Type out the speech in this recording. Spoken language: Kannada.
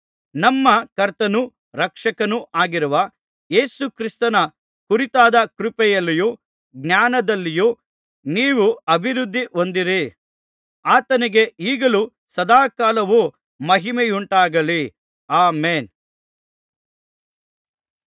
ನಮ್ಮ ಕರ್ತನೂ ರಕ್ಷಕನೂ ಆಗಿರುವ ಯೇಸು ಕ್ರಿಸ್ತನ ಕುರಿತಾದ ಕೃಪೆಯಲ್ಲಿಯೂ ಜ್ಞಾನದಲ್ಲಿಯೂ ನೀವು ಅಭಿವೃದ್ಧಿ ಹೊಂದಿರಿ ಆತನಿಗೆ ಈಗಲೂ ಸದಾಕಾಲವೂ ಮಹಿಮೆಯುಂಟಾಗಲಿ ಆಮೆನ್